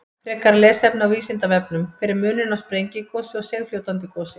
Frekara lesefni á Vísindavefnum: Hver er munurinn á sprengigosi og seigfljótandi gosi?